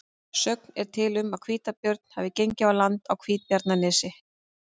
Sögn er til um að hvítabjörn hafi gengið á land í Hvítabjarnarnesi.